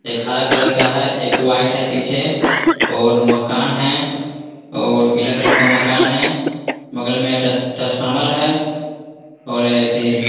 एक हरा कलर का है। एक वाइट है पीछे और मकान है और पीला कलर का मकान है। बगल में टस ट्रांसफार्मर है और एथी --